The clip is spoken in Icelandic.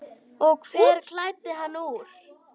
Og hver klæddi hann úr?